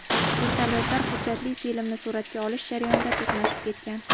Vertolyotlar hujjatli filmni suratga olish jarayonida to‘qnashib ketgan.